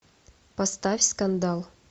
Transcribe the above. поставь скандал